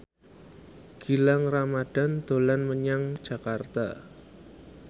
Gilang Ramadan dolan menyang Jakarta